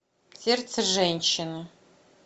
сердце женщины